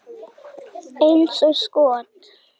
Eins og skot!